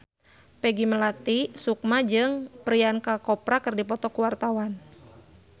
Peggy Melati Sukma jeung Priyanka Chopra keur dipoto ku wartawan